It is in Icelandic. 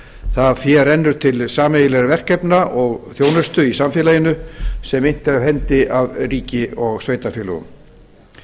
það fé rennur til sameiginlegra verkefna og þjónustu í samfélaginu sem innt er af hendi af ríki og sveitarfélögum